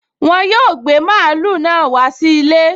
Wọn yóò gbé mààúlù náà wá sí ilé